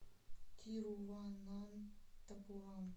тируванантапурам